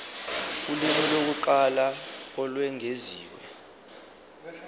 ulimi lokuqala olwengeziwe